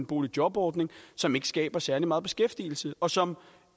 boligjobordning som ikke skaber særlig meget beskæftigelse og som